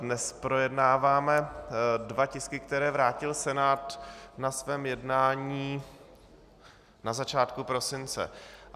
Dnes projednáváme dva tisky, které vrátil Senát na svém jednání na začátku prosince.